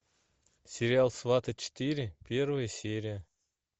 сериал сваты четыре первая серия